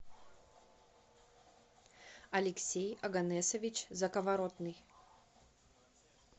алексей оганесович заковоротный